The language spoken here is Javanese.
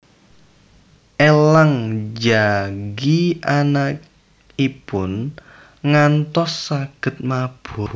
Elang njagi anakipun ngantos saged mabur